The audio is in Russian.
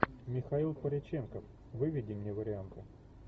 михаил пореченков выведи мне варианты